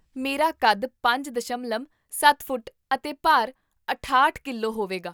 ਮੇਰਾ ਕੱਦ ਪੰਜ ਦਸ਼ਮਲਵ ਸੱਤ ਫੁੱਟ ਅਤੇ ਭਾਰ ਅਠਾਹਠ ਕਿਲੋ ਹੋਵੇਗਾ